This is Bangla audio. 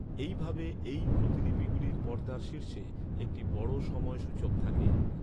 এইভাবে এই প্রতিলিপিগুলির পর্দার শীর্ষে একটি বড় সময় সূচক থাকে।